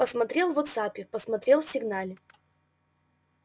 посмотрел в вотсаппе посмотрел в сигнале